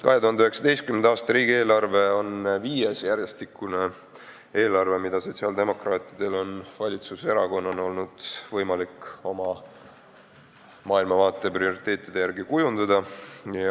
2019. aasta riigieelarve on viies järjestikune eelarve, mida sotsiaaldemokraatidel on valitsuserakonnana võimalik oma maailmavaate ja prioriteetide järgi kujundada.